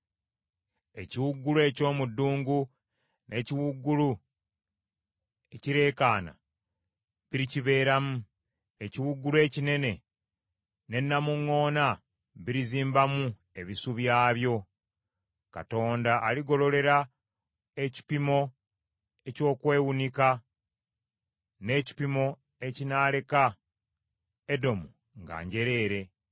Ekiwuugulu eky’omu ddungu n’ekiwuugulu ekireekaana, birikibeeramu. Ekiwuugulu ekinene ne namuŋŋoona birizimbamu ebisu byabyo. Katonda aligololera ekipimo eky’okwewunika, n’ekipimo ekinaaleka Edomu nga njereere.